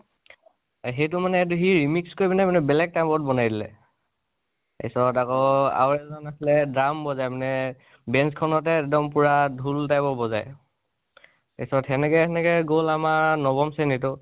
সেইটো মানে সি ৰিমিক্স কৰি বেলেগ এটা type ত বনাই দিলে। তাচত আকৌ, আৰু এজন আছিলে, drum বজাই মানে, bench খনতে একদম পুৰা ঢোল type ত বজাই। তাচত সেনেকে সেনেকে গল আমাৰ নৱম শ্ৰণী টো